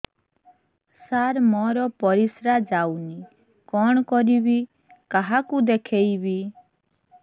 ସାର ମୋର ପରିସ୍ରା ଯାଉନି କଣ କରିବି କାହାକୁ ଦେଖେଇବି